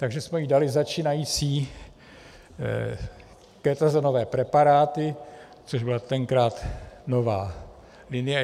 Takže jsme jí dali začínající ketazonové preparáty, což byla tenkrát nová linie.